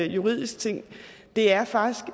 juridisk ting det er faktisk